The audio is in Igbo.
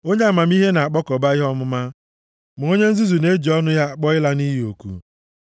Onye amamihe na-akpakọba ihe ọmụma, ma onye nzuzu na-eji ọnụ ya akpọ ịla nʼiyi oku.